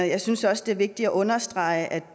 jeg synes også det er vigtigt at understrege at